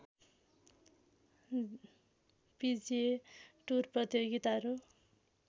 पिजिए tour प्रतियोगिताहरू